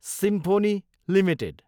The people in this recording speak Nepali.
symphony Ltd